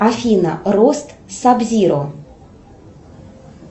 афина рост саб зиро